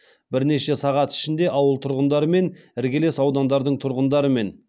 бірнеше сағат ішінде ауыл тұрғындары мен іргелес аудандардың тұрғындарымен